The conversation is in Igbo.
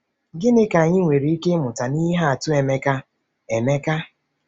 Gịnị ka anyị nwere ike ịmụta n’ihe atụ Emeka? Emeka?